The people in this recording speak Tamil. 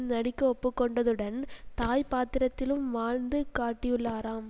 நடிக்க ஒப்புக்கொண்டதுடன் தாய் பாத்திரத்திலும் வாழ்ந்து காட்டியுள்ளாராம்